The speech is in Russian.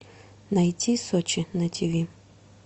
найти сочи на тиви